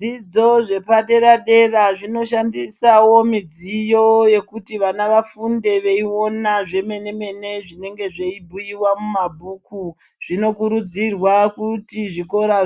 Zvidzidzo zvepaderadera zvinoshandisawo midziyo yekuti vana vafunde zvemenemene zvinenge zvabhuiwa mubhuku. Zvinokurudzirwa kuti muzvikora